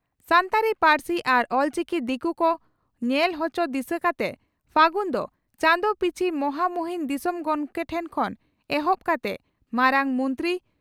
ᱥᱟᱱᱛᱟᱲᱤ ᱯᱟᱹᱨᱥᱤ ᱟᱨ ᱚᱞᱪᱤᱠᱤ ᱫᱤᱠᱩ ᱠᱚ ᱧᱮᱞ ᱦᱚᱪᱚ ᱫᱤᱥᱟᱹ ᱠᱟᱛᱮ ᱯᱷᱟᱹᱜᱩᱱ ᱫᱚ ᱪᱟᱸᱫᱚ ᱯᱤᱪᱷᱤ ᱢᱚᱦᱟᱢᱩᱦᱤᱱ ᱫᱤᱥᱚᱢ ᱜᱚᱢᱠᱮ ᱴᱷᱮᱱ ᱠᱷᱚᱱ ᱮᱦᱚᱵ ᱠᱟᱛᱮ ᱢᱟᱨᱟᱝ ᱢᱚᱱᱛᱨᱤ